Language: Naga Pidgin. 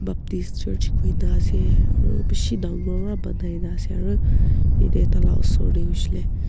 baptist church kuina ase aru bishi dangor para banai na ase aru yate taila osor te hoishe le .